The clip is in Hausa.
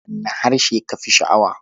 Wane harshe ka fi sha'awa?